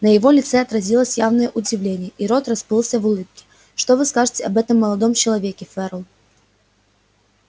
на его лице отразилось явное удивление и рот расплылся в улыбке что вы скажете об этом молодом человеке ферл